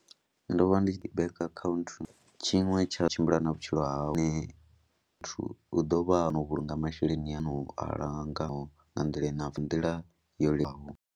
Ndo vha ndi tshi ḓi bannga khaunthu tshiṅwe tsha tshimbila na vhutshilo hawe muthu u ḓo vha na u vhulunga masheleni ane u a langa nga nḓila i na nḓila yo leluwaho.